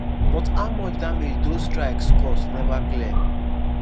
but how much damage doz strikes cause neva clear.